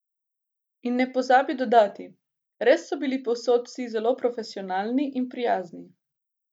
In ne pozabi dodati: "Res so bili povsod vsi zelo profesionalni in prijazni.